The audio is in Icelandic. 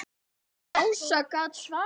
Ása gat svarað fyrir sig.